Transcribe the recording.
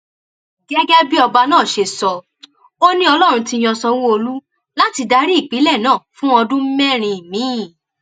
gẹgẹ bí ọba náà ṣe sọ ọ ni ọlọrun ti yan sanwóolu láti darí ìpínlẹ náà fún ọdún mẹrin miín